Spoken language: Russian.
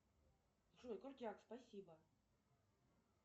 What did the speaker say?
джой крутяк спасибо